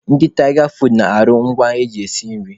Ndị Tịga foodu na-arụ ngwa eji esi nri.